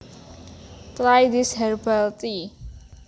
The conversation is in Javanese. Try this herbal tea